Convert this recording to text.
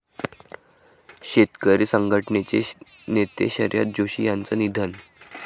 शेतकरी संघटनेचे नेते शरद जोशी यांचं निधन